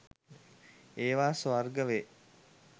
ඒවා ස්වර්ග වේ.